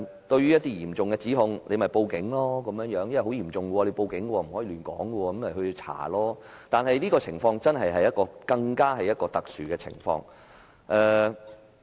對於一些嚴重的指控，只說可以報警求助，因為很嚴重，需要報警，不可亂說，以便當局進行調查，但這更是一種特殊的情況。